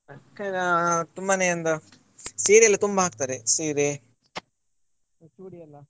ಅಕ್ಕ ಅಹ್ ತುಂಬಾನೇ ಒಂದು ಸೀರೆ ಎಲ್ಲ ತುಂಬಾ ಹಾಕ್ತಾರೆ ಸೀರೆ ಚೂಡಿ ಎಲ್ಲ.